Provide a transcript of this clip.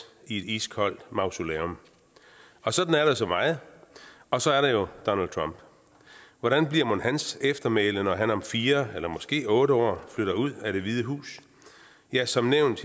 i et iskoldt mausoleum sådan er der så meget og så er der jo donald trump hvordan bliver mon hans eftermæle når han om fire eller måske otte år flytter ud af det hvide hus ja som nævnt